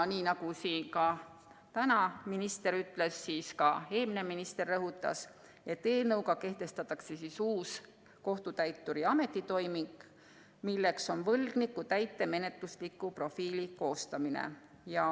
Nii nagu siin täna minister ütles ja ka eelmine minister rõhutas, eelnõuga kehtestatakse uus kohtutäituri ametitoiming, milleks on võlgniku täitemenetlusliku profiili koostamine.